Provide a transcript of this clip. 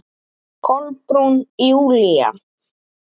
Kolbrún Júlía.